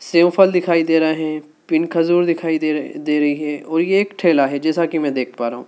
Save फल दिखाई दे रहे हैं फिर खजूर दिखाई दे रहा है दे रही है और यह एक ठेला है जैसा कि मैं देख पा रहा हूं।